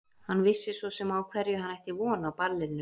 Hann vissi svo sem á hverju hann ætti von á ballinu.